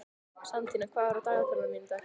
Santía, hvað er í dagatalinu mínu í dag?